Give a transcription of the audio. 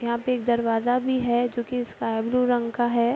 यहाँ पे एक दरवाजा भी है जोकि स्काई ब्लू रंग का है।